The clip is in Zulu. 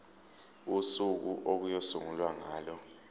usuku okuyosungulwa ngalo